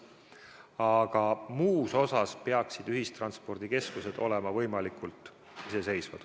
Aga muus osas peaksid ühistranspordikeskused olema võimalikult iseseisvad.